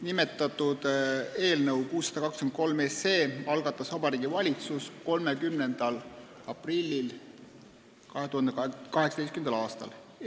Nimetatud eelnõu 623 algatas Vabariigi Valitsus 30. aprillil 2018. aastal.